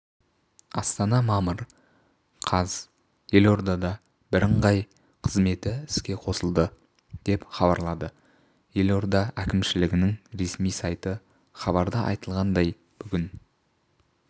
істана мамыр қаз елордада бірыңғай қызметі іске қосылды деп хабарлады елордаәкімшілігінің ресми сайты хабарда айтылғандай бүгін